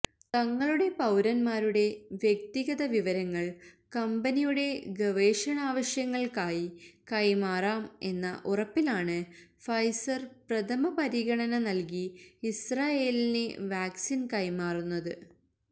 തങ്ങളുടെ പൌരന്മാരുടെ വ്യക്തിഗത വിവവരങ്ങൽ കംബനിയുടെ ഗവേഷണാവശ്യങ്ങൾക്കായി കൈമാറാം എന്ന ഉറപ്പിലാണ് ഫൈസർ പ്രഥമപരിഗണന നൽകി ഇസ്രയേലിന് വാക്സിൻ കൈമാറുന്നത്